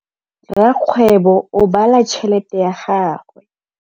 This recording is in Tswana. Rakgwêbô o bala tšheletê ya gagwe.